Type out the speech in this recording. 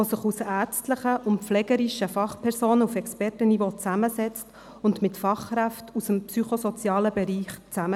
Es besteht aus ärztlichen und pflegerischen Fachpersonen auf Expertenniveau und arbeitet mit Fachkräften aus dem psychosozialen Bereich zusammen.